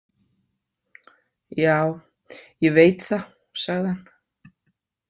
Já, ég veit það, sagði hann.